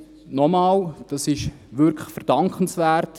Nochmals: Das ist wirklich verdankenswert.